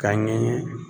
Ka ɲɛ